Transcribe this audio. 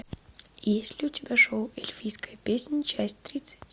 есть ли у тебя шоу эльфийская песнь часть тридцать